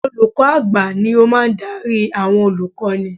Olùkọ́ à̀gbà ni ó máa ń darí àwọn olùkọ́ni